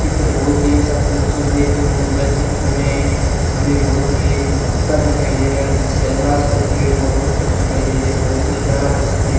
चित्र बहुत ही अच्छा खूबसूरत देखने को मिल रहा है चित्र में हमें बहुत ये कुत्ता दिखाई दे रहा है जिसका इलाज करते हुए दो डॉक्टर दिखाई दे रहा है बहुत ही प्यारा दृश्य देख --